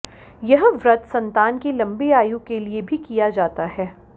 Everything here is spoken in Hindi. यह व्रत संतान की लंबी आयु के लिए भी किया जाता है